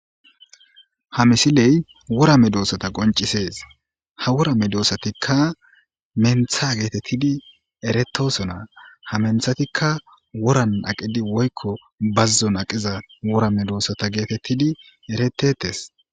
Ha misilee wora medoosatha qonccisees; ha wora medoosaththikka menththaa geetheththidi erethoosona; ha menththathikka woran aqidi woykko bazzon aqiza wora medoosatha geetheththidi erettheeththes.